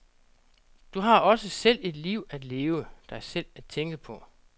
Du har også selv et liv at leve, dig selv at tænke på.